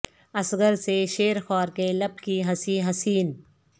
اصغر سے شیر خوار کے لب کی ہنسی حسین